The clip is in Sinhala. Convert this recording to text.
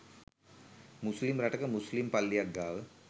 මුස්ලිම් රටක මුස්ලිම් පල්ලියක් ගාව